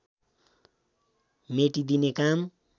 मेटिदिने काम